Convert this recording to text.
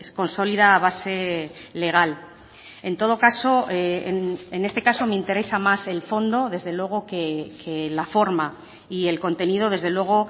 consolida base legal en todo caso en este caso me interesa más el fondo desde luego que la forma y el contenido desde luego